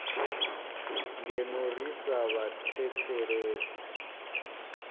ngeno ri sa vha thethelesi